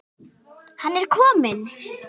Hann er kominn!